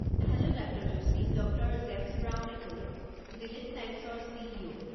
Hello doctor Joshi. ড. James ব্ৰাউনে ক'লো, জিলেড ছাইন্সেছৰ চি.ই.ও.।